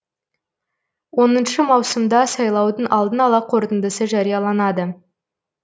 он маусымда сайлаудың алдын ала қорытындысы жарияланады